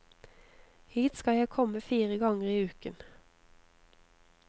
Hit skal jeg komme fire ganger i uken.